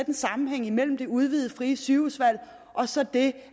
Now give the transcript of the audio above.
en sammenhæng imellem det udvidede frie sygehusvalg og så det